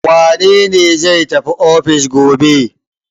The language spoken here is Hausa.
Wane ne zai tafi ofis gobe?